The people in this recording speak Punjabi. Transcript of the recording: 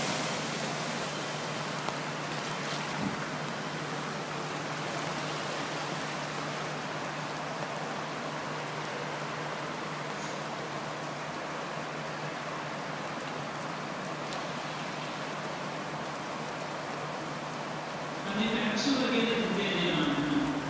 ਹਾਂਜੀ ਪੈਪਸੂ ਵਰਗੇ ਤਾਂ ਦਿੱਤੇ ਆ ਜੀ ਇਨਾਮ ਇਹਨਾਂ ਨੂੰ।